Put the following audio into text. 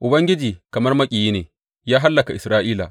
Ubangiji kamar maƙiyi ne; ya hallaka Isra’ila.